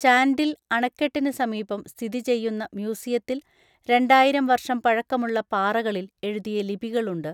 ചാൻഡിൽ അണക്കെട്ടിന് സമീപം, സ്ഥിതി ചെയ്യുന്ന മ്യൂസിയത്തിൽ രണ്ടായിരം വർഷം പഴക്കമുള്ള പാറകളിൽ എഴുതിയ ലിപികളുണ്ട്.